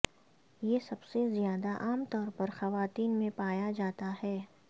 یہ سب سے زیادہ عام طور پر خواتین میں پایا جاتا ہے